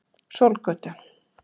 Sólgötu